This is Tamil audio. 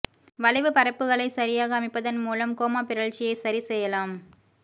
வளைவு பரப்புகளை சரியாக அமைப்பதன் மூலம் கோமா பிறழ்ச்சியை சரி செய்யலாம்